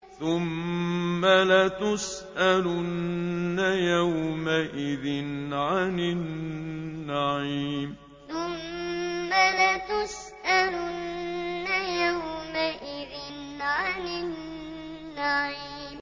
ثُمَّ لَتُسْأَلُنَّ يَوْمَئِذٍ عَنِ النَّعِيمِ ثُمَّ لَتُسْأَلُنَّ يَوْمَئِذٍ عَنِ النَّعِيمِ